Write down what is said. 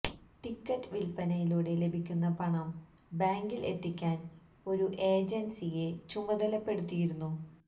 ticket വില്പ്പനയിലൂടെ ലഭിക്കുന്ന പണം ബാങ്കില് എത്തിക്കാന് ഒരു ഏജന്സിയെ ചുമതലപ്പെടുത്തിയിരുന്നു